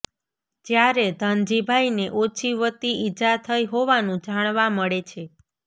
જ્યારે ધનજીભાઈને ઓછી વત્તિ ઇજા થઈ હોવાનું જાણવા મળે છે